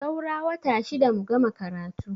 Saura wata shida mu gama karatu.